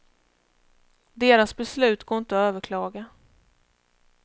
Deras beslut går inte att överklaga.